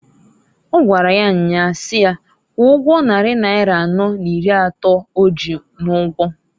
Ọ gwara ya nyaa si ya kwụọ ụgwọ nnari naira anọọ n'iri atọọ o ji n'ụgwọǃ